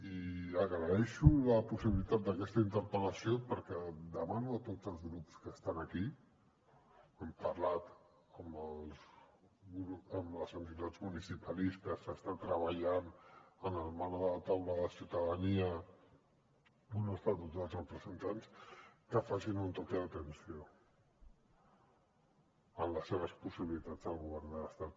i agraeixo la possibilitat d’aquesta interpel·lació perquè demano a tots els grups que estan aquí hem parlat amb les entitats municipalistes s’està treballant en el marc de la taula de ciutadania on estan tots els representants que facin un toc d’atenció en les seves possibilitats al govern de l’estat